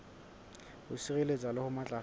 ho sireletsa le ho matlafatsa